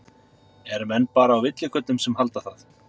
Eru menn bara á villigötum sem halda það?